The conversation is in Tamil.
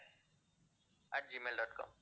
at gmail dot com